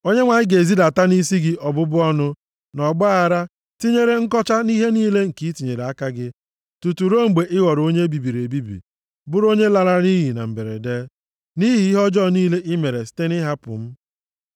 Onyenwe anyị ga-ezidata nʼisi gị ọbụbụ ọnụ, na ọgbaaghara, tinyere nkọcha nʼihe niile nke i tinyere aka gị, tutu ruo mgbe ị ghọrọ onye e bibiri ebibi bụrụ onye lara nʼiyi na mberede, nʼihi ihe ọjọọ niile i mere site nʼịhapụ m.